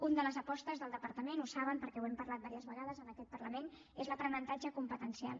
una de les apostes del departament ho saben perquè ho hem parlat diverses vegades en aquest parlament és l’aprenentatge competencial